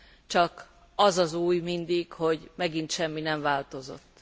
Csak az az új mindig, hogy megint semmi sem változott.